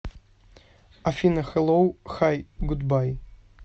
афина хэллоу хай гудбай